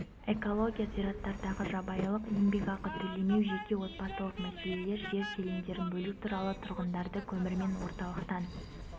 экология зираттардағы жабайылық еңбекақы төлемеу жеке отбасылық мәселелер жер телімдерін бөлу туралы тұрғындарды көмірмен орталықтан